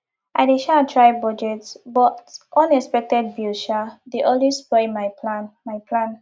i dey um try budget but unexpected bills um dey always spoil my plan my plan